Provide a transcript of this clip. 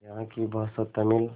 यहाँ की भाषा तमिल